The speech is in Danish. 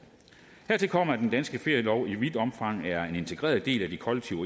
hertil kommer at den danske ferielov i vidt omfang er en integreret del af de kollektive